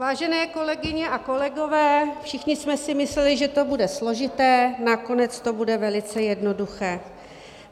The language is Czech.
Vážené kolegyně a kolegové, všichni jsme si mysleli, že to bude složité, nakonec to bude velice jednoduché.